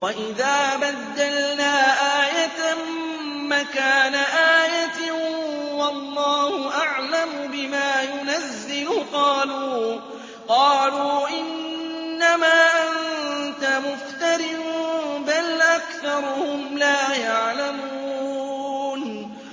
وَإِذَا بَدَّلْنَا آيَةً مَّكَانَ آيَةٍ ۙ وَاللَّهُ أَعْلَمُ بِمَا يُنَزِّلُ قَالُوا إِنَّمَا أَنتَ مُفْتَرٍ ۚ بَلْ أَكْثَرُهُمْ لَا يَعْلَمُونَ